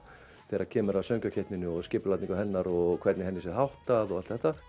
þegar kemur að söngvakeppninni og skipulagi hennar og hvernig henni sé háttað og allt þetta